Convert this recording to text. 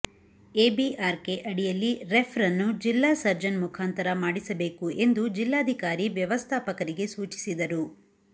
ABRK ಅಡಿಯಲ್ಲಿ refer ಅನ್ನು ಜಿಲ್ಲಾ ಸರ್ಜನ್ ಮುಖಾಂತರ ಮಾಡಿಸಬೇಕು ಎಂದು ಜಿಲಾಧಿಕಾರಿ ವ್ಯವಸ್ಥಾಪಕರಿಗೆ ಸೂಚಿಸಿದರು